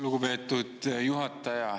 Lugupeetud juhataja!